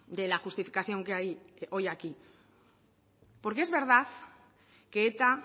de la justificación que hay hoy aquí porque es verdad que eta